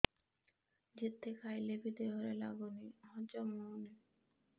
ଯେତେ ଖାଇଲେ ବି ଦେହରେ ଲାଗୁନି ହଜମ ହଉନି